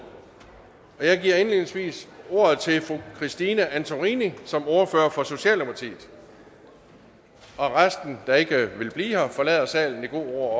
og jeg giver indledningsvis ordet til fru christine antorini som ordfører for socialdemokratiet dem der ikke vil blive her forlader salen i god ro og